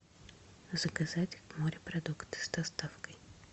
заказать морепродукты с доставкой